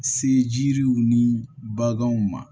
Se jiriw ni baganw ma